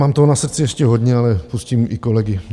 Mám toho na srdci ještě hodně, ale pustím i kolegy.